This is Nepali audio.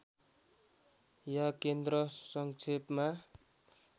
या केन्द्र सङ्क्षेपमा